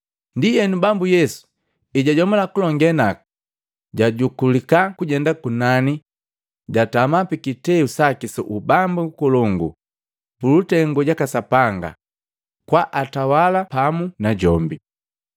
Ndienu, Bambu Yesu ejajomula kulongee naku, jajukulika kujenda kunani jatama pikiteu saki su ubambu ukolongu pulutengu jaka Sapanga kwaatawala pamu najombi.